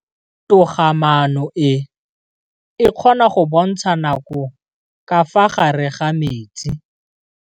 Toga-maanô e, e kgona go bontsha nakô ka fa gare ga metsi.